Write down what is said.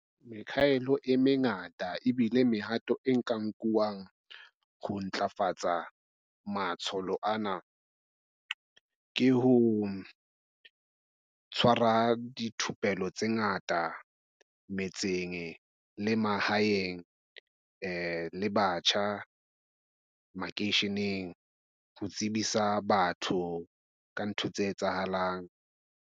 Mekgahelo e mengata ebile mehato e nka nkuwang ho ntlafatsa matsholo ana ke ho tshwara dithupelo tse ngata metseng le mahaeng, le batjha makeisheneng ho tsebisa batho ka ntho tse etsahalang.